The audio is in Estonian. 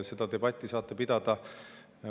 Seda debatti saate pidada.